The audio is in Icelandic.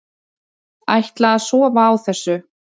Ætla að sofa á þessu